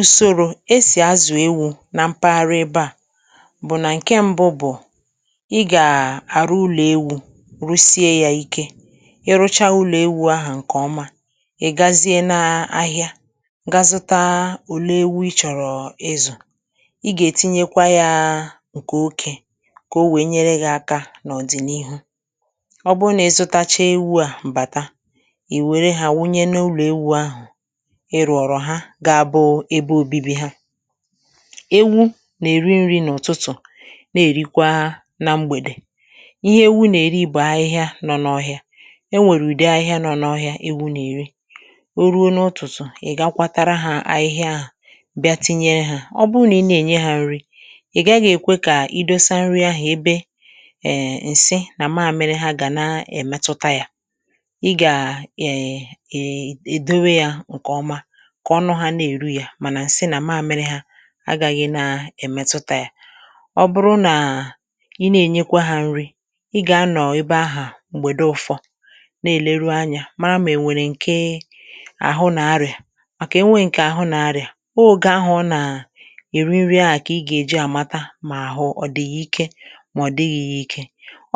Ùsòrò esì azụ̀ ewu̇ na mpaghara ebe à bụ̀ nà ǹke mbụ bụ̀; ị gà-àrụ ụlọ̀ ewu̇ rụsie yȧ Ike, ị rụcha ụlọ̀ ewu̇ ahụ̀ ǹkè ọma ị̀ gazie na ahịa gà zụta ole ewu̇ ị chọ̀rọ̀ izù. Ị gà-ètinye kwà ya ǹkè okė kà o wee nyere gị aka n’ọ̀dị̀nihu. Ọ bụ nà ị zụtacha ewu̇ à bàta, ì wère hà wunye n’ụlọ̀ ewu̇ ahụ̀ ị rụ̀rụ̀ ha ga abụ̇ ebe obibi ha. Ewu nà-èri nri̇ n’ụ̀tụtụ̀ na-èrikwa na mgbèdè. Ihe ewu nà-èri bụ̀ ahịhịa nọ n’ọhịa; e nwèrè ụdị ahịhịa nọ n’ọhịa ewu nà-èri. Oruȯ n’ụ̀tụtụ̀, ị̀ gà kwatara hȧ ahịhịa ahụ bịa tinyere hȧ, Ọ bụ nà ị nà-ènye hȧ nri̇ ị̀ gàghi èkwe kà idosa nri ahụ̀ ebe um ǹsị nà màmịrị hȧ gà na-èmetuta yȧ. Ị gà um um edowe yȧ ǹkè ọma kà ọnụ̇ ha na-èru yà, mànà ǹsị nà mamịrị hȧ agȧghị̇ na-èmetuta yȧ. Ọ bụrụ nà ị na-ènyekwa hȧ nrị, ị gà-anọ̀ ebe ahụ̀ m̀gbèdo ụfọ̇ na-èleru anyȧ mara mà ènwèrè ǹke àhụ nà arị̀à; màkà enwė ǹkè àhụ nà arị̀à, ọ oge ahụ̀ ọ nà-èri nri a kà ị gà-èji àmata mà àhụ ọ̀ dị yà ike mà ọ̀ dịghị̇ yà Ike.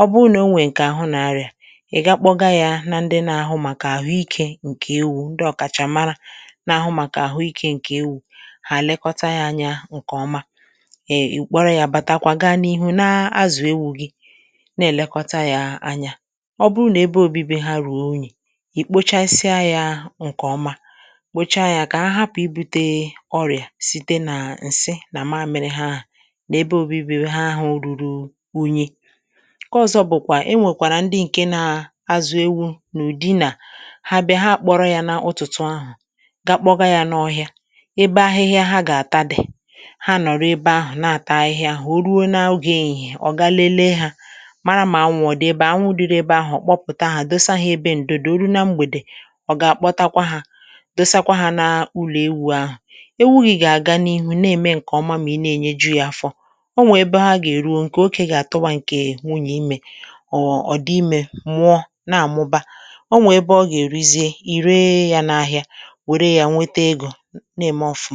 ọ bụ nà o nwèe ǹkè àhụ nà arị̀à, ị̀ ga-akpọ ga yȧ na ndị na-ahụ màkà àhụ ikė ǹkè ewu; ndị ọ kàchàmara na-ahụ màkà ahụ ike nke ewu, hà lekọta ya anya ǹkè ọma. um Ị kpọrọ ya bàta kwa gaa n’ihu na-azụ̀ ewu̇ gi na-èlekọta ya anya. Ọ bụrụ nà ebe òbibi ha rùo unyi̇, ì kpochasịa ya ǹkè ọma kpòcha ya kà ha hapụ̀ ibute ọrị̀à site nà ǹsị nà mȧmịrị ha àhụ, nà ebe òbibi ha ahụ ruru unyi. Nke ọzọ bụ̀kwà e nwèkwàrà ndị ǹke na-azụ̀ ewu̇ n’ụ̀dị nà ha bịa ha kpọrọ ya n’ụtụtụ ahụ̀, ga kpọga ya nọ ọhịa ebe ahịhịa ha gà-àta dị̀; ha nọ̀rọ̀ ebe ahụ̀ na-àta ahịhịa ahụ̀ o ruo na oge ehihie ò ga-lele hȧ, mara mà anwụ̇ ọ̀ dị ebe anwụ̇; anwụ dịrị ebe ahụ̀ ọ̀ kpọpụta ahụ̀ dosa hȧ ebe ǹdò di. Oru na mgbèdè, ọ̀ gà-àkpọtakwa hȧ dosakwa hȧ na ụlọ̀ ewù ahụ̀. Ewụ̀ gị̇ gà-àga n’ihu na-ème ǹkè ọma mà i na-ènye ju ya afọ̇. O nwè ebe ha gà-èruo, ǹkè okė gà-àtụwa ǹkè nwụnye imė. Ọ ọ̀ dị imė mụọ na-àmụba, ọ nwè ebe ọ gà-èru zie; ì ree ya n’ahịa weré ya wetè ego, nà-ẹmẹ ọfụmà.